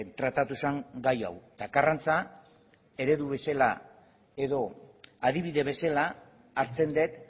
tratatu zen gai hau eta karrantza eredu bezala edo adibide bezala hartzen dut